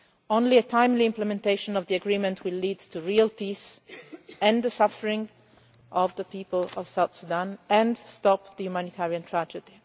Only timely implementation of the agreement will lead to real peace, end the suffering of the people of South Sudan and stop the humanitarian tragedy.